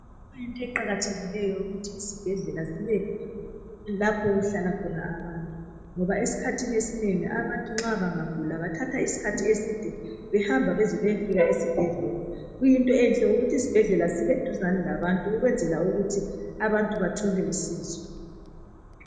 Kuyinto eqakathekileyo yokuthi iZibhedlela zibe apho okuhlala khona abantu, ngoba esikhathini esinengi abantu nxa bangagula bathatha isikhathi eside behamba bezebeyefika esibhedlela. Kuyinto enhle ukuba iZibhedlela zibeseduzane labantu ukwenzela ukuthi abantu bathole usizo.